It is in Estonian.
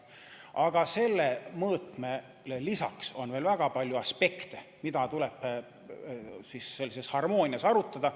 Aga sellele mõõtmele lisaks on veel väga palju aspekte, mida tuleb sellises harmoonias arutada.